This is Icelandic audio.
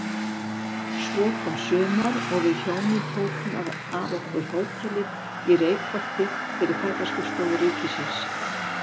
Svo kom sumar og við hjónin tókum að okkur hótelið í Reykholti fyrir Ferðaskrifstofu ríkisins.